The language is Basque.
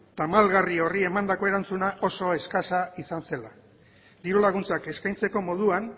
tamalgarri horri emandako erantzuna oso eskasa izan zela diru laguntzak eskaintzeko moduan